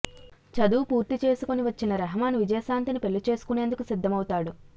చదువు పూర్తి చేసుకొని వచ్చిన రెహమన్ విజయశాంతిని పెళ్ళి చేసుకునేందుకు సిద్ధమవుతాడు